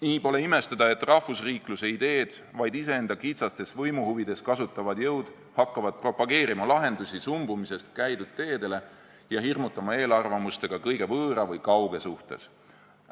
Nii pole imestada, et rahvusriikluse ideed vaid iseenda kitsastes võimuhuvides kasutavad jõud hakkavad propageerima lahendusi sumbumisest käidud teedele ja hirmutama eelarvamustega kõige võõra või kauge suhtes.